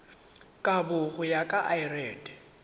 kabo go ya ka lrad